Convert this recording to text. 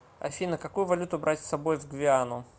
афина какую валюту брать с собой в гвиану